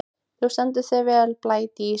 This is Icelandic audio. Þú stendur þig vel, Blædís!